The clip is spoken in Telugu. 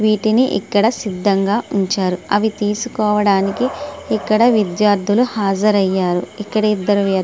వీటిని ఇక్కడ సిద్ధంగా ఉంచారు అవి తీసుకోడానికి ఇక్కడ విద్యార్థులు హాజరుయ్యారు ఇక్కడ ఇద్దరు వ్వక్తులు --